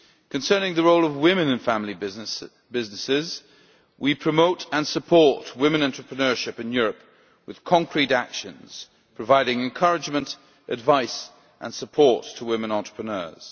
Concerning the role of women in family businesses, we promote and support women entrepreneurship in Europe with concrete actions, providing encouragement, advice and support to women entrepreneurs.